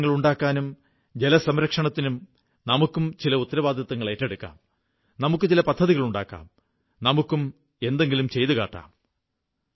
ജലാശയങ്ങളുണ്ടാക്കാനും ജലസംരക്ഷണത്തിനും നമുക്കും ചില ഉത്തരവാദിത്തങ്ങളേറ്റെടുക്കാം നമുക്കു ചില പദ്ധതികളുണ്ടാക്കാം നമുക്കും എന്തെങ്കിലും ചെയ്തുകാട്ടാം